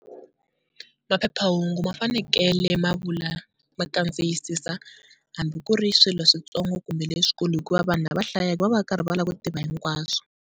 Maphephahungu ma fanekele ma vula ma kandziyisisa hambi ku ri swilo switsongo kumbe leswikulu hikuva vanhu lava hlayaka va va karhi va lava ku tiva hinkwaswo.